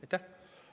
Aitäh!